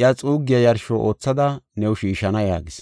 iya xuuggiya yarsho oothada new shiishana” yaagis.